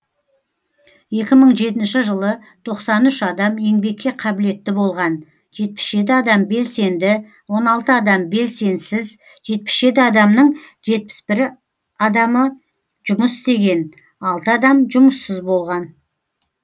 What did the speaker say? екі мың жетінші жылы тоқсан үш адам еңбекке қабілетті болған жетпіс жеті адам белсенді он алты адам белсенсіз жетпіс жеті адамның жетпіс бір адамы жұмыс істеген алты адам жұмыссыз болған